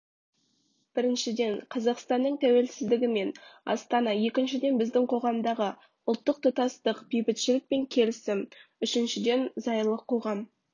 біріншіден қазақстанның тәуелсізідігі мен астана екіншіден біздің қоғамдағы ұлттық тұтастық бейбітшілік пен келісім үшіншіден зайырлы қоғам